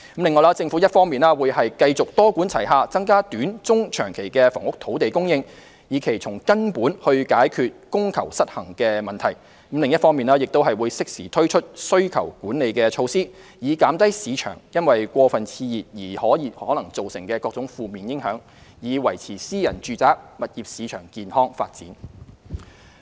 此外，政府一方面會繼續多管齊下增加短、中、長期的房屋土地供應，以期從根本解決供求失衡的問題；另一方面則會適時推出需求管理措施，以減低市場因過分熾熱而可能造成的各種負面影響，以維持私人住宅物業市場健康發展。